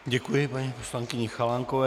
Děkuji paní poslankyni Chalánkové.